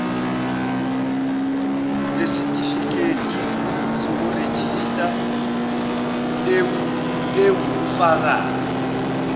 yesitifiketi sokurejista ewubufakazi